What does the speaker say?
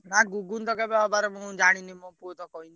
ନା ଘୁଗୁନି ତ କେବେ ହେବାର ମୁଁ ଜାଣିନି ମୋ ପୁଅ ତ କହିନି।